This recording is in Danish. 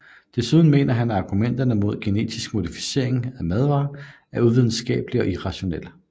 Desuden mener han at argumenter imod genetisk modificerede madvarer er uvidenskabelige og irrationelle